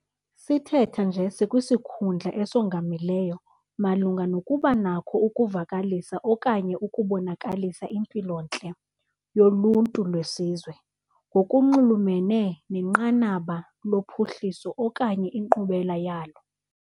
Sithetha nje sikwisikhundla esongamileyo malunga nokubanakho ukuvakalisa okanye ukubonakalisa impilo-ntle yoluntu lwesizwe ngokunxulumene nenqanaba lophuhliso okanye inkqubela yalo.